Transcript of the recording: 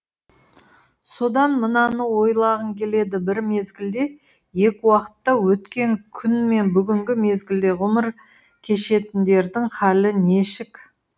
содан мынаны ойлағың келеді бір мезгілде екі уақытта өткен күн мен бүгінгі мезгілде ғұмыр кешетіндердің халі нешік